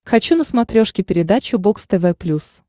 хочу на смотрешке передачу бокс тв плюс